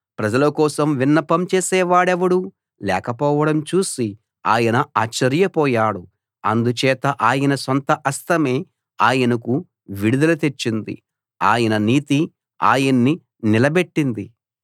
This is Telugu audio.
ప్రజలకోసం విన్నపం చేసేవాడెవడూ లేకపోవడం చూసి ఆయన ఆశ్చర్యపోయాడు అందుచేత ఆయన సొంత హస్తమే ఆయనకు విడుదల తెచ్చింది ఆయన నీతి ఆయన్ని నిలబెట్టింది